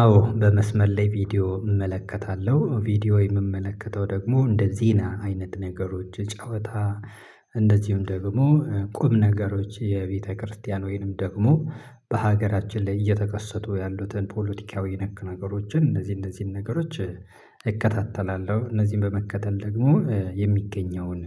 አዎ በመስመር ላይ ቪዲዮ እመለከታለሁ፤ ቪዲዮ የምመለከተው ደግሞ እንደዜና አይነት ነገሮች፤ ጨዋታ እንደዚሁም ደግሞ ቁም ነገሮች የቤተክርስቲያን ወይንም ደግሞ በሀገራችን ላይ እየተከሰቱ ያሉትን ፖለቲካዊ ነክ ነገሮችን እነዚህ እነዚህን ነገሮች እከታተላለሁ። እነዚህን በመከተል ደግሞ የሚገኘውን